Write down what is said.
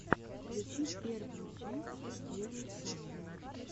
включи первую часть геры сафина